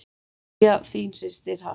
Kveðja, þín systir Harpa.